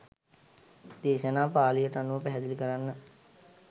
දේශනා පාලියට අනුව පැහැදිලි කරන්න.